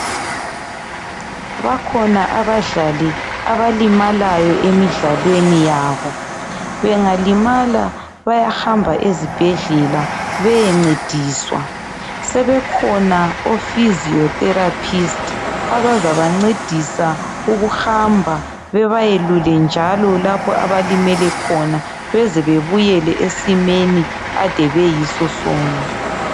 Bakhona abadlali abalimalayo emidlalweni yabo. Bengalimala bayahamba ezibhedlela beyencediswa. Sebekhona o 'physio-therapist' abazabancedisa ukuhamba, bebayelule njalo lapho abalimele khona beze bebuyele esimeni ade beyisosona.